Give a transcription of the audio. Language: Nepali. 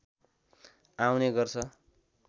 आउने गर्छ